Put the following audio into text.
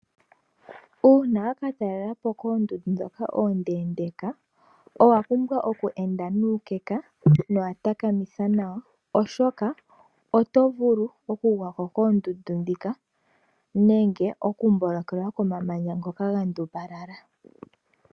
Uuna wakatalela po koondundu ndhoka oondendeka owapumbwa oku enda nuukeka, nowa takamitha nawa oshoka oto vulu okugwako koondundu ndhika nenge okumbolokotelwa komamanya ngoka gandumbala.